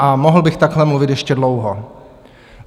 A mohl bych takhle mluvit ještě dlouho.